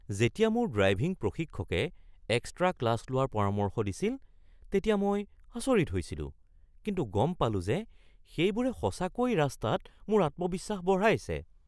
যেতিয়া মোৰ ড্ৰাইভিং প্ৰশিক্ষকে এক্সট্ৰা ক্লাছ লোৱাৰ পৰামৰ্শ দিছিল তেতিয়া মই আচৰিত হৈছিলোঁ। কিন্তু গম পালোঁ যে সেইবোৰে সঁচাকৈ ৰাস্তাত মোৰ আত্মবিশ্বাস বঢ়াইছে।